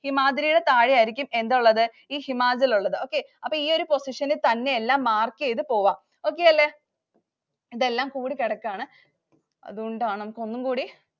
ഹിമാദ്രിയുടെ താഴെയായിരിക്കും എന്തുള്ളത്. ഈ ഹിമാചല്‍ ഉള്ളത്. Okay അപ്പൊ ഈ ഒരു position ഇല്‍ mark ചെയ്തു പോകാം. Okay അല്ലേ? ഇതെല്ലാം കൂടി കെടക്കുകയാണ്. അതൂണ്ടാണ്. നമുക്ക് ഒന്നും കൂടി